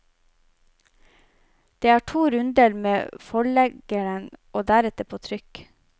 Det er to runder med forleggeren og deretter på trykk.